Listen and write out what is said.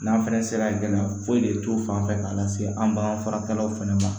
N'an fɛnɛ sera gɛlɛya foyi de t'o fan fɛ k'a lase an bakan faraw fɛnɛ ma